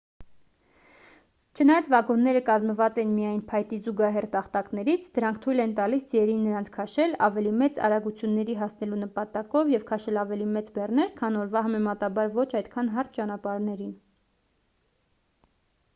չնայած վագոնները կազմված էին միայն փայտի զուգահեռ տախտակներից դրանք թույլ էին տալիս ձիերին նրանց քաշել ավելի մեծ արագությունների հասնելու նպատակով և քաշել ավելի մեծ բեռներ քան օրվա համեմատաբար ոչ այդքան հարթ ճանապարհներին